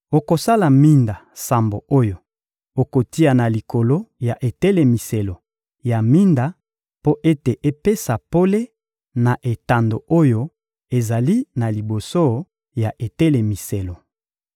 Okosala minda sambo oyo okotia na likolo ya etelemiselo ya minda mpo ete epesa pole na etando oyo ezali na liboso ya etelemiselo.